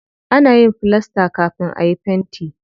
Ana yin filasta kafin ayi fenti.